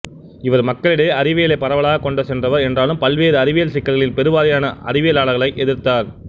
இவர் மக்களிடையே அறிவியலைப் பரவலாகக் கொண்டு சென்றவர் என்றாலும் பல்வேறு அறிவியல் சிக்கல்களில் பெருவாரியான அறிவியலாளர்களை எதிர்த்தார்